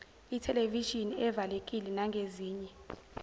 ithelevishini evalekile nangezinye